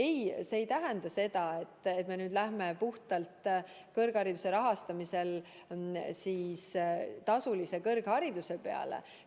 Ei, see ei tähenda seda, et me nüüd lähme kõrghariduse rahastamisel puhtalt tasulise kõrghariduse peale üle.